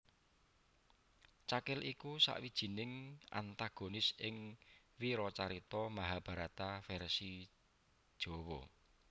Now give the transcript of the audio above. Cakil iku sawijining antagonis ing wiracarita Mahabharata vèrsi Jawa